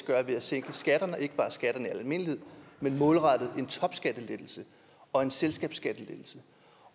gøre ved at sænke skatterne og ikke bare skatterne i almindelighed men målrettet en topskattelettelse og en selskabsskattelettelse